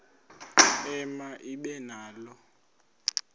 ema ibe nalo